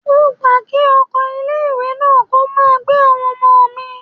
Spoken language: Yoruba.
Mo gbà kí ọkọ̀ ilé ìwé náà kó máa gbé àwọn ọmọ mi.